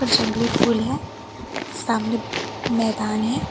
जंगली फूल है सामने मैदान है।